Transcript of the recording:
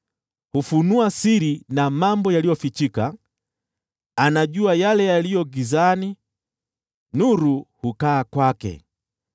Hufunua siri na mambo yaliyofichika; anajua yale yaliyo gizani, nayo nuru hukaa kwake.